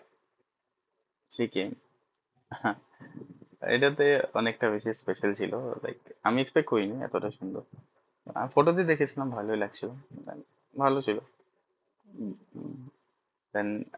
chiken হম এটা তে অনেক টা বেশি special ছিল like আমি expected করিনি এত তা সুন্দর photo তে দেখছিলাম ভলোই লাগছিলো ভালো ছিল then